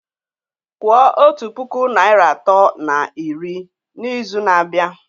Kwuo otu puku naịra atọ na iri n'izu na-abịa!